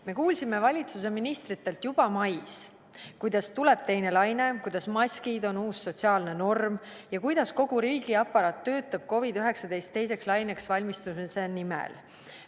Me kuulsime valitsuse ministritelt juba mais, kuidas tuleb teine laine, kuidas maskid on uus sotsiaalne norm ja kuidas kogu riigiaparaat töötab COVID-19 teiseks laineks valmistumise nimel.